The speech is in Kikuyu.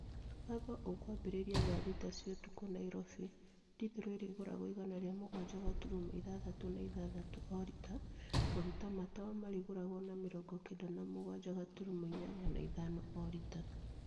Watho ukwambĩrĩria thaa thita cia ũtukũ Nairobi . Dithũrũ ĩrĩgũragwo igana rĩa mũgwanja gaturumo ĩthathatũ na ithathatũ o rita. Maguta ma tawa marĩgũragwo na mĩrongo kenda na mũgwanja gaturumo ĩnyanya na ithano o rita.